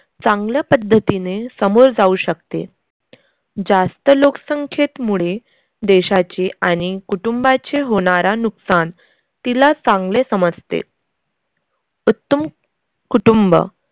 चांगल्या पद्धतीने सामोर जाऊ शकते. जास्त लोकसंख्येतमुळे देशाचे आणि कुटुंबाचे होणारा नुकसान तिला चांगले समजते. उत्तम कुटुंब